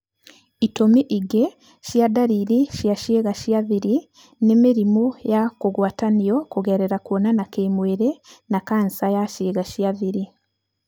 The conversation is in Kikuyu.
Itũmi ingĩ cia ndariri cia ciĩga cia thiri nĩ mĩrimũ ya kũgwatanio kũgerera kwonana kĩmwĩrĩ na kansa ya ciĩga cia thiri.